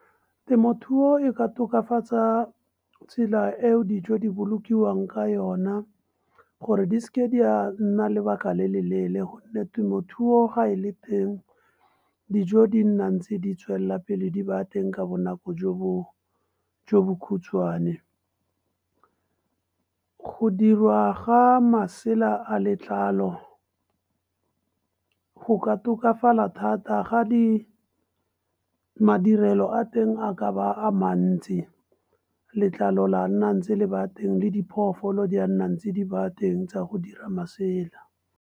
Temothuo e ka tokafatsa tsela eo dijo di bolokilweng ka yona, gore di se ke di nna lebaka le le leele. Gonne temothuo gae le teng dijo di nna ntse di tswelelapele di ba teng ka bonako jo bo khutshwane. Go dirwa ga masela a letlalo, go ka tokafala thata ga di madirelo a teng a ka ba a mantsi letlalo la nna ntse di ba teng le diphoofolo di a nna ntse di ba teng tsa go dira masela.